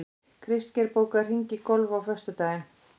Kristgeir, bókaðu hring í golf á föstudaginn.